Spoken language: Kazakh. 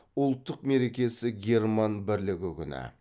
ұлттық мерекесі герман бірлігі күні